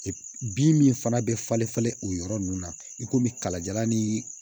bin min fana bɛ falen falen o yɔrɔ ninnu na i komi kalajalan ni